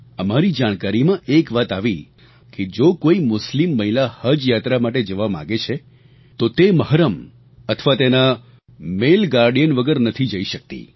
અમારી જાણકારીમાં એક વાત આવી કે જો કોઈ મુસ્લિમ મહિલા હજ યાત્રા માટે જવા માગે છે તો તે મહરમ અથવા તેના માલે ગાર્ડિયન વગર નથી જઈ શકતી